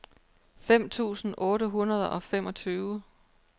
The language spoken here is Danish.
fem tusind otte hundrede og femogtyve